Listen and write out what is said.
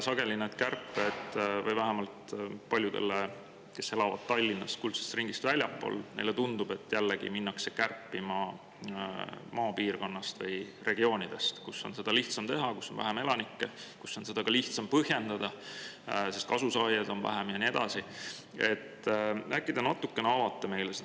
Sageli tundub, vähemalt paljudele, kes elavad Tallinnast ja kuldsest ringist väljaspool, et jälle minnakse kärpima maapiirkonnast või regioonidest, kus seda on lihtsam teha, kus on vähem elanikke, kus seda on ka lihtsam põhjendada, sest kasu saanud, on seal vähem, ja nii edasi.